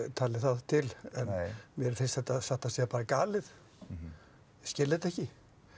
talið það til en mér finnst þetta satt að segja bara galið ég skil þetta ekki